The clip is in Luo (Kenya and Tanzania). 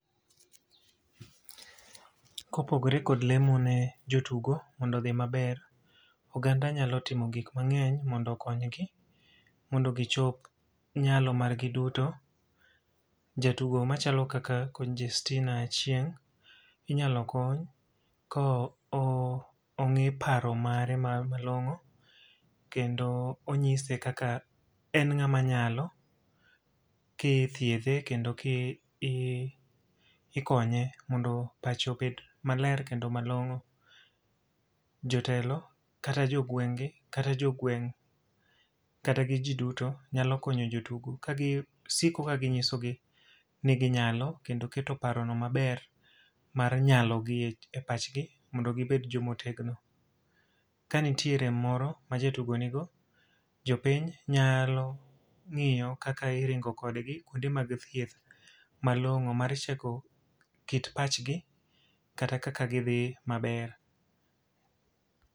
Kopogore kod lemo ne jotugo mondo odhi maber, oganda nyalo timo gik mangény mondo okonygi, mondo gichop nyalo margi duto. Jatugo machalo kaka Congestina Achieng', inyalo kony ka ongí paro mare malongó, kendo onyise kaka en ngáma nyalo ka ithiedhe kendo ka i ikonye mondo pache obed maler, kendo malongó. Jotelo, kata jogweng'gi, kata jogweng' kata gi ji duto nyalo konyo jotugo ka gisiko ginyisogi ni ginyalo. Kendo kero paro no maber mar nyalo gi e pachgi mondo gibed joma otegno. Ka nitie gimoro ma jatugo nigo, jopiny nyalo ngíyo kaka iringo kodgi kuondwe mag thieth, malongó mar cheko kit pachgi, kata kaka gidhi maber.